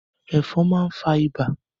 Ẹ̀fọn máa n fa ibà.